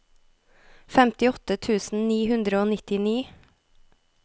femtiåtte tusen ni hundre og nittini